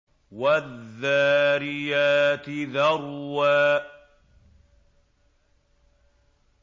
وَالذَّارِيَاتِ ذَرْوًا